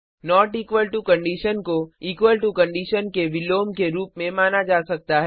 not equal to condition को equal to condition के विलोम के रूप में माना जा सकता है